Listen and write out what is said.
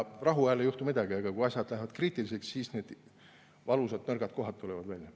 Rahuajal ei juhtu midagi, aga kui asjad lähevad kriitiliseks, siis need valusad nõrgad kohad tulevad välja.